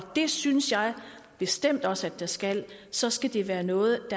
det synes jeg bestemt også at der skal så skal det være noget